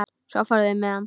Svo fóru þeir með hann.